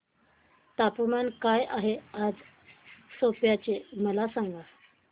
तापमान काय आहे आज सेप्पा चे मला सांगा